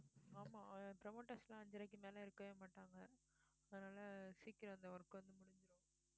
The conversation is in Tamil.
ஆமா promoters எல்லாம் அஞ்சரைக்கு மேல இருக்கவே மாட்டாங்க அதனால சீக்கிரம் அந்த work வந்து